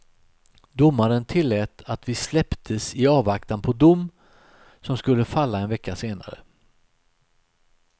Domaren tillät att vi släpptes i avvaktan på dom, som skulle falla en vecka senare.